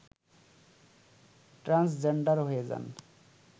transgender হয়ে যান